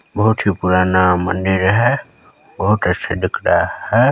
बहुत ही पुराना मंदिर है बहुत अच्छा दिख रहा हैं ।